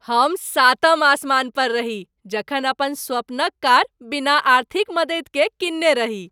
हम सातम आसमान पर रही जखन अपन स्वपन क कार बिना आर्थिक मददि के किनने रही ।